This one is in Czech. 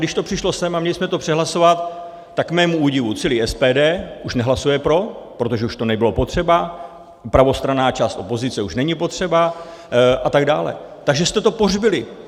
Když to přišlo sem a měli jsme to přehlasovat, tak k mému údivu celé SPD už nehlasuje pro, protože už to nebylo potřeba, pravostranná část opozice už není potřeba a tak dále, takže jste to pohřbili.